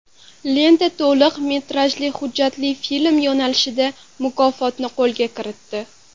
Lenta to‘liq metrajli hujjatli film yo‘nalishida mukofotni qo‘lga kiritdi.